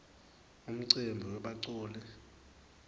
umcimbi webaculi